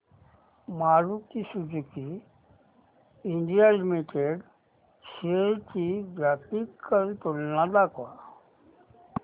Maruti Suzuki India limited shares ची graphical तुलना दाखव